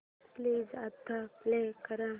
please आता play कर